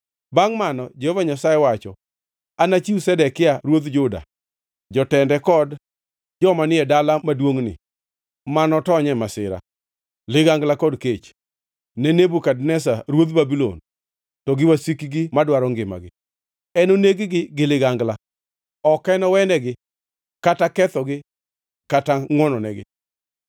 Bangʼ mano, Jehova Nyasaye wacho, anachiw Zedekia ruodh Juda, jotende kod joma ni e dala maduongʼni ma notony e masira, ligangla kod kech, ne Nebukadneza ruodh Babulon to gi wasikgi madwaro ngimagi. Enoneg-gi gi ligangla; ok enowenegi kata kechogi kata ngʼwononegi.’